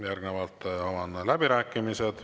Järgnevalt avan läbirääkimised.